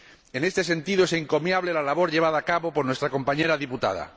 En este sentido, es encomiable la labor llevada a cabo por nuestra compañera diputada.